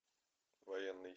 военный